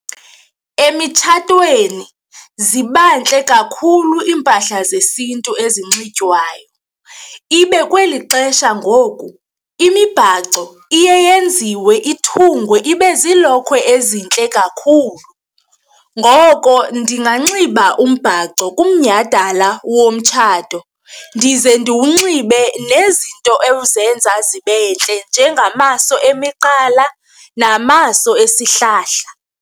Emitshatweni ziba ntle kakhulu iimpahla zesiNtu ezinxitywayo, ibe kweli xesha ngoku imibhaco iye yenziwe ithungwe ibe ziilokhwe ezintle kakhulu. Ngoko, ndinganxiba umbhaco kumnyhadala womtshato ndize ndiwunxibe nezinto ezenza zibe ntle njengamaso emiqala namaso esihlahla.